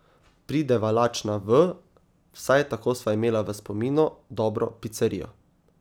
Prideva lačna v, vsaj tako sva imela v spominu, dobro picerijo.